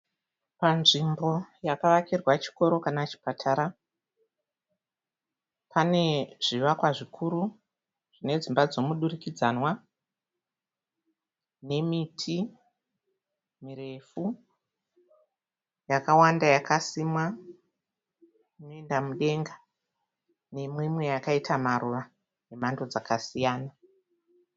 Panzvimbo yakavakirwa chikoro kana chipatara. Pane zvivakwa zvikuru nedzimba dzomudurikidzanwa nemiti mirefu yakawanda yakasimwa ichienda mudenga nemimwe yakaita maruva emhando dzakasiyana.